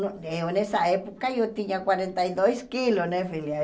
Eh eu nessa época eu tinha quarenta e dois quilos, né filha?